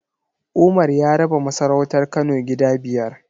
Umar ya raba masarautar Kano gida biyar.